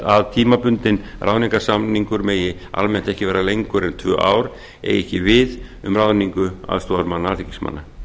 að tímabundinn ráðningarsamningur megi almennt ekki vara lengur en tvö ár eigi ekki við um ráðningu aðstoðarmanna alþingismanna